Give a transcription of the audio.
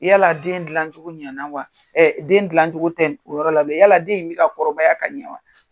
I yala den gilan cogo ɲana wa? den gilan cogo tɛ o yɔrɔ la, yala den in bi ka kɔrɔbaya ka ɲɛ wa?